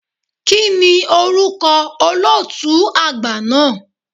Kíni orúkọ olóòtú àgbà náà?